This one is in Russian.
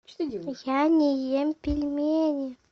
я не ем пельмени